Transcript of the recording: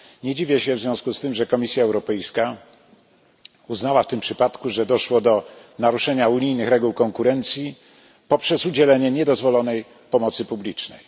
Nie dziwię się w związku z tym, że Komisja Europejska uznała w tym przypadku, że doszło do naruszenia unijnych reguł konkurencji poprzez udzielenie niedozwolonej pomocy publicznej.